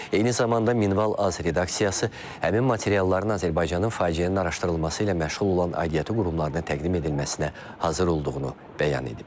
Eyni zamanda Minval.az redaksiyası həmin materialların Azərbaycanın faciənin araşdırılması ilə məşğul olan aidiyyatı qurumlarına təqdim edilməsinə hazır olduğunu bəyan edib.